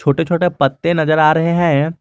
छोटे छोटे पत्ते नजर आ रहे हैं।